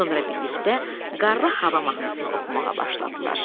Sonra birlikdə qarlı hava mahnısını oxumağa başladılar.